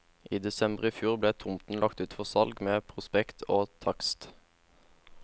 I desember i fjor ble tomten lagt ut for salg med prospekt og takst.